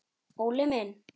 Óli minn!